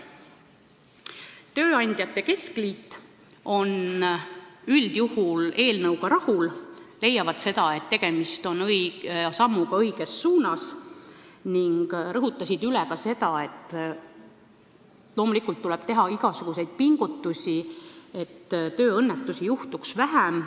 Tööandjate keskliit on üldjuhul eelnõuga rahul, nad leiavad seda, et tegemist on sammuga õiges suunas, kuid rõhutasid üle, et loomulikult tuleb teha igasuguseid pingutusi, et tööõnnetusi juhtuks vähem.